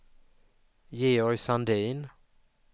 Georg Sandin